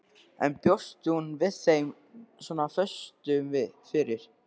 En bjóst hún við þeim svona föstum fyrir?